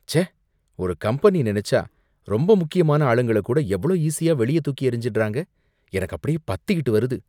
ச்சே! ஒரு கம்பெனி நினைச்சா ரொம்ப முக்கியமான ஆளுங்கள கூட எவ்ளோ ஈசியா வெளிய தூக்கி எறிஞ்சிடுறாங்க, எனக்கு அப்படியே பத்திட்டு வருது